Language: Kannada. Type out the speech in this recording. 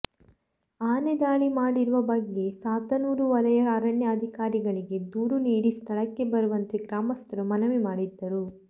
ಆನೆದಾಳಿ ಮಾಡಿರುವ ಬಗ್ಗೆ ಸಾತನೂರು ವಲಯ ಅರಣ್ಯ ಅಧಿಕಾರಿಗಳಿಗೆ ದೂರು ನೀಡಿ ಸ್ಥಳಕ್ಕೆ ಬರುವಂತೆ ಗ್ರಾಮಸ್ಥರು ಮನವಿ ಮಾಡಿದ್ದರು